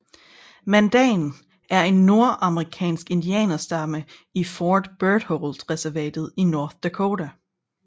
Mandan er en nordamerikansk indianerstamme i Fort Berthold reservatet i North Dakota